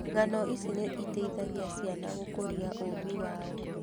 Ng'ano ici nĩ iteithagia ciana gũkũria ũũmbi wao.